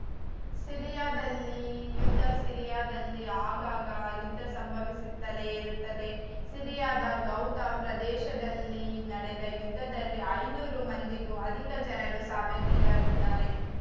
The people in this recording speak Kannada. ಸಿರಿಯಾದಲ್ಲಿ ಯುದ್ಧ ಸಿರಿಯಾದಲ್ಲಿ ಆಗಾಗ ಯುದ್ಧ ಸಂಭವಿಸುತ್ತಲೇ ಇರುತ್ತದೆ ಸಿರಿಯಾದ ಗೌತ ಪ್ರದೇಶದಲ್ಲಿ ನಡೆದ ಯುದ್ಧದಲ್ಲಿ ಐನೂರು ಮಂದಿಗೂ ಅಧಿಕ ಜನರು ಸಾವಿಗೀಡಾಗಿದ್ದಾರೆ